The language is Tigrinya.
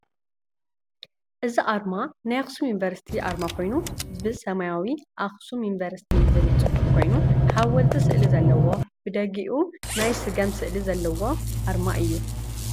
እዚ ኣርማ ናይ ኣክሱም ዩኒቨርሲቲ ኣርማ ኮይኑ ብሰማያዊ ኣክሱም ዩኒቨርሲቲ ዝብል ፅሑፍ ኮይኑ ሓወልቲ ስእሊ ዘለዎ ብደጊኡ ናይ ስገም ስእሊ ዘለዋ ኣርማ እዩ።